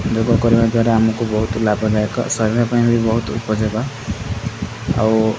ଯୋଗ କରିବା ଦ୍ୱାରା ଆମକୁ ବହୁତ ଲାଭଦାୟକ ଶରୀର ପାଇଁ ବି ବହୁତ ଉପଯୋଗ ଆଉ।